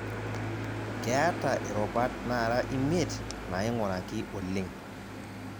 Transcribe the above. Keeta irubat naara imiet naing'uraki oleng'